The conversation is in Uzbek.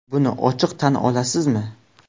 Buni ochiq tan olasizmi?